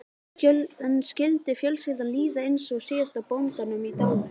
En skyldi fjölskyldunni líða eins og síðasta bóndanum í dalnum?